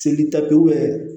Seli ta pewu